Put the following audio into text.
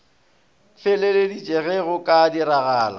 feleletše ge go ka diragala